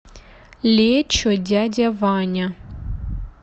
лечо дядя ваня